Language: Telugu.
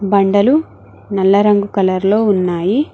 బండలు నల్ల రంగు కలర్ లో ఉన్నాయి.